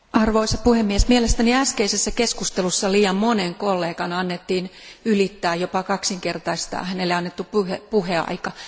Arvoisa puhemies, mielestäni äskeisessä keskustelussa liian monen kollegan annettiin ylittää jopa kaksinkertaisesti hänelle annettu puheaika.